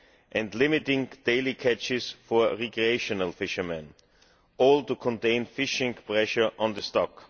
and limiting the daily catches for recreational fishermen, all to contain fishing pressure on the stock.